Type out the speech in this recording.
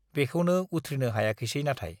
बेखौनो उथ्रिनो हायाखिसै नाथाय।